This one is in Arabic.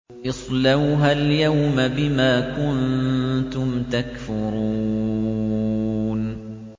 اصْلَوْهَا الْيَوْمَ بِمَا كُنتُمْ تَكْفُرُونَ